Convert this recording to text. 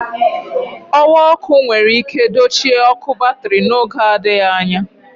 Ọ̀wà ọkụ enwere ike dochie ọ̀kụ batrị n'oge adịghị anya.